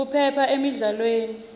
kuphepha emidlalweni